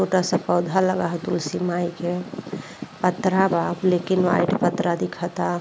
छोटा सा पौधा लगा ह तुसली माई के। पतरा बा। ब्लैक एण्ड व्हाइट पतरा दिखता।